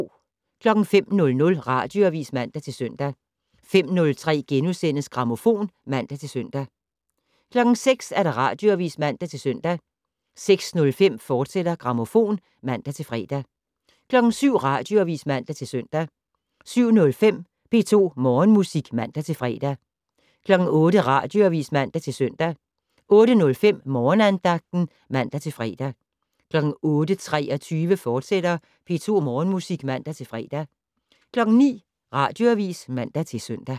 05:00: Radioavis (man-søn) 05:03: Grammofon *(man-søn) 06:00: Radioavis (man-søn) 06:05: Grammofon, fortsat (man-fre) 07:00: Radioavis (man-søn) 07:05: P2 Morgenmusik (man-fre) 08:00: Radioavis (man-søn) 08:05: Morgenandagten (man-fre) 08:23: P2 Morgenmusik, fortsat (man-fre) 09:00: Radioavis (man-søn)